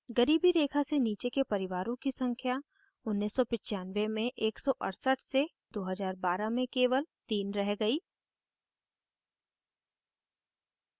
गरीबी रेखा से नीचे के परिवारों की संख्या 1995 में 168 से 2012 में केवल 3 रह गयी